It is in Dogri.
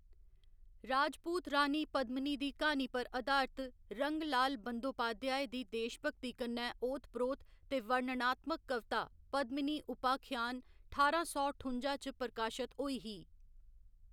राजपूत रानी पद्मिनी दी क्हानी पर आधारत रंगलाल बंदोपाध्याय दी देशभक्ति कन्नै ओत प्रोत ते वर्णनात्मक कविता पद्मिनी उपाख्यान ठारां सौ ठुं'जा च प्रकाशत होई ही।